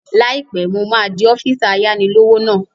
Láìpẹ́, mo máa di ọ́físà ayáni-lówó náà